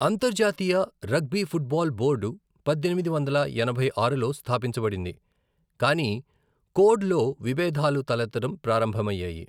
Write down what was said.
అంతర్జాతీయ rugby football board పద్దెనిమిది వందల ఎనభై ఆరులో స్థాపించబడింది, కానీ కోడ్ లో విభేదాలు తలెత్తడం ప్రారంభమయ్యాయి .